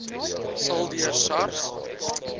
sal deur sars